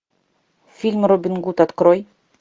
фильм робин гуд открой